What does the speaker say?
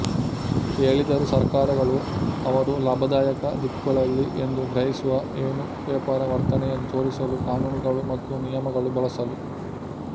ಹೇಳಿದರು ಸರ್ಕಾರಗಳು ಅವರು ಲಾಭದಾಯಕ ದಿಕ್ಕುಗಳಲ್ಲಿ ಎಂದು ಗ್ರಹಿಸುವ ಏನು ವ್ಯಾಪಾರ ವರ್ತನೆಯನ್ನು ತೋರಿಸಲು ಕಾನೂನುಗಳು ಮತ್ತು ನಿಯಮಗಳು ಬಳಸಲು